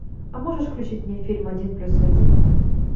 а можешь включить мне фильм один плюс один